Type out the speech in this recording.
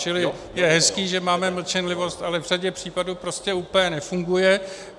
Čili je hezké, že máme mlčenlivost, ale v řadě případů prostě úplně nefunguje.